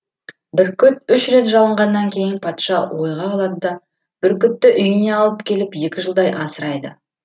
бүркіт үш рет жалынғаннан кейін патша ойға қалады да бүркітті үйіне алып келіп екі жылдай асырайды